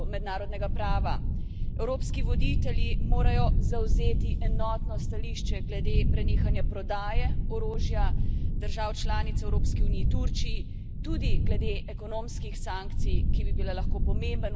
Evropski voditelji morajo zavzeti enotno stališče glede prenehanja prodaje orožja držav članic Evropske unije Turčiji, tudi glede ekonomski sankcij, ki bi bile lahko pomemben vzvod vpliva na Ankaro.